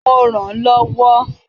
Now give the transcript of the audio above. Mo rànán lọ́wọ́.